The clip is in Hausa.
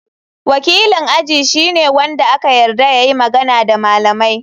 Wakilin aji shine wanda aka yarda ya yi magana da malamai.